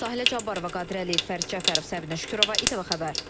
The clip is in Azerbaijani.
Sahilə Cabbarova, Qadir Əliyev, Fərid Cəfərov, Səbinə Şükürova, İTV xəbər.